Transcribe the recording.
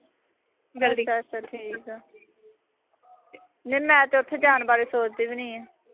ਅੱਛਾ ਠੀਕ ਆ। ਨਹੀਂ ਮੈਂ ਤਾਂ ਉਥੇ ਜਾਣ ਬਾਰੇ ਸੋਚਦੀ ਵੀ ਨਈਂ ਆਂ।